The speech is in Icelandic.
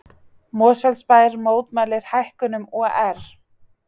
Mosfellsbær mótmælir hækkunum OR